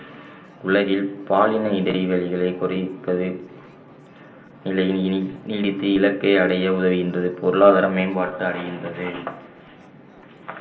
உலகில் பாலினை இடைவெளிகளை குறிப்பது நீடித்து இலக்கை அடைய உதவுகின்றது பொருளாதார மேம்பாட்டு அடைகின்றது